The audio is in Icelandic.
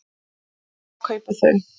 Hvar kaupa þau?